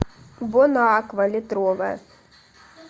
бонаква литровая